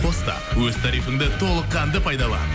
қос та өз тарифінді толыққанды пайдалан